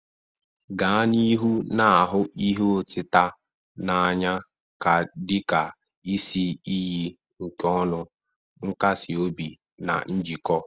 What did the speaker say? Gaa n'ihu na-ahụ ihe otita n'anya dị ka isi iyi nke ọṅụ, nkasi obi, na njikọ.